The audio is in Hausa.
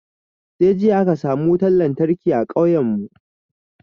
Sai jiya aka samu wutan lantarki a kauyen mu